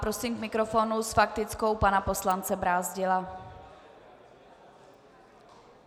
Prosím k mikrofonu s faktickou pana poslance Brázdila.